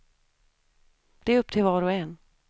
Det är upp till var och en.